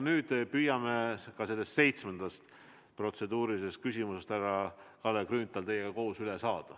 Nüüd püüame ka seitsmendast protseduurilisest küsimusest, härra Kalle Grünthal, teiega koos üle saada.